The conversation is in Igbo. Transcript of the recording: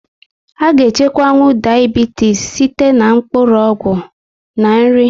A ga echukwanwu Diabitis site na mkpụrụ ọgwụ na nri